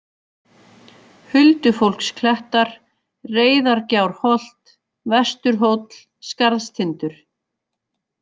Huldufólksklettar, Reyðargjárholt, Vesturhóll, Skarðstindur